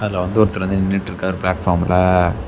அதுல வந்து ஒருத்தர் வந்து நின்னுட்டுருக்காரு பிளாட்ஃபார்ம்ல .